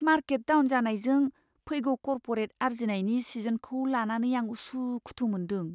Market down जानायजों फैगौ corporate आर्जिनायनि सिजनखौ लानानै आं उसुखुथु मोनदों।